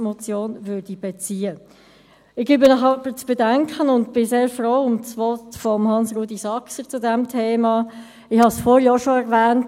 Ich gebe Ihnen aber zu bedenken – und ich bin sehr froh um das Votum von Hans-Rudolf Saxer zu diesem Thema –, ich habe es vorher auch schon erwähnt: